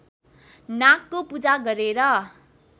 नागको पूजा गरेर